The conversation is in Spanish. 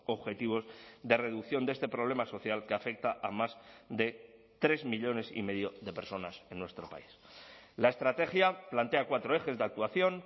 objetivos de reducción de este problema social que afecta a más de tres millónes y medio de personas en nuestro país la estrategia plantea cuatro ejes de actuación